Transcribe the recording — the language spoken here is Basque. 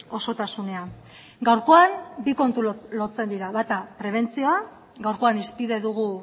osotasunean gaurkoan bi kontu lotzen dira bata prebentzio gaurkoan hizpide dugu